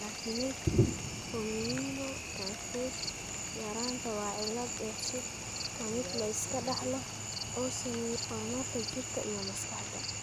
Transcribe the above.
Glutamate formiminotransferase yaraanta waa cillad dheef-shiid kiimikaad la iska dhaxlo oo saameeya horumarka jirka iyo maskaxda.